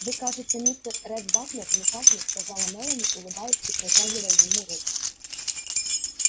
вы кажется мистер ретт батлер не так ли сказала мелани улыбаясь и протягивая ему руку